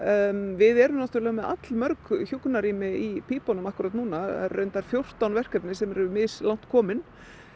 við erum með allmörg hjúkrunarrými í pípunum akkúrat núna það eru fjórtán verkefni sem eru mislangt komin